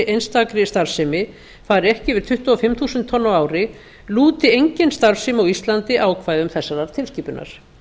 einstakri starfsemi var ekki yfir tuttugu og fimm þúsund tonn á ári lúti engin starfsemi á íslandi ákvæðum þessarar tilskipunar